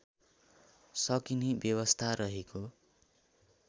सकिने व्यवस्था रहेको